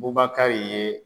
Bubakari ye